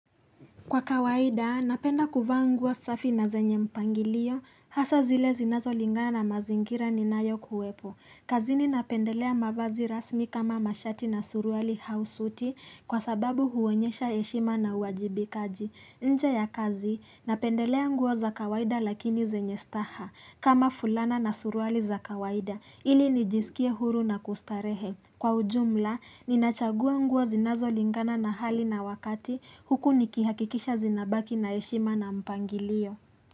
Kwa kawaida, napenda kuvaa nguo safi na zenye mpangilio, hasa zile zinazolingana na mazingira ni nayo kuwepo. Kazini napendelea mavazi rasmi kama mashati na suruali au suti kwa sababu huonyesha heshima na uwajibikaji. Nje ya kazi, napendelea nguo za kawaida lakini zenye staha kama fulana na suruali za kawaida ili nijisikie huru na kustarehe. Kwa ujumla, ninachagua nguo zinazo lingana na hali na wakati huku nikihakikisha zinabaki na heshima na mpangilio.